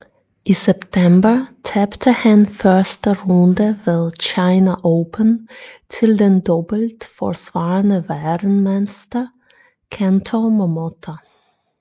I september tabte han første runde ved China Open til den dobbelt forsvarende verdensmester Kento Momota